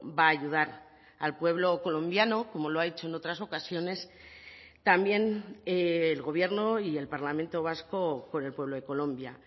va a ayudar al pueblo colombiano como lo ha hecho en otras ocasiones también el gobierno y el parlamento vasco con el pueblo de colombia